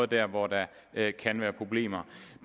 der hvor der kan være problemer